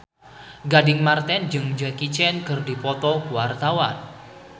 Gading Marten jeung Jackie Chan keur dipoto ku wartawan